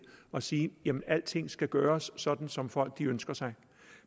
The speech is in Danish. og sige jamen alting skal gøres sådan som folk ønsker sig